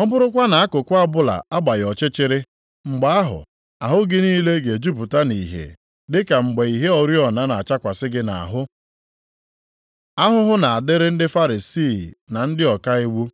ọ bụrụkwa na akụkụ ọbụla agbaghị ọchịchịrị, mgbe ahụ, ahụ gị niile ga-ejupụta nʼìhè dị ka mgbe ìhè oriọna na-achakwasị gị nʼahụ.” Ahụhụ na-adịrị ndị Farisii na ndị ọka nʼiwu